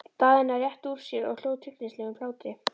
Daðína rétti úr sér og hló tryllingslegum hlátri.